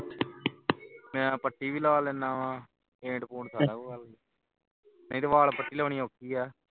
ਮੈਂ ਪੱਟੀ ਵੀ ਲਾ ਲੈਣਾ ਵਾ paint ਵੀ ਸਾਰਾ ਕੁਝ ਕਰ ਲੈਂਦਾ ਵਾ ਨਹੀਂ ਤੇ ਵਾਲ ਪਟੀ ਲੰਘਾਉਣੀ ਔਖੀ ਹੈ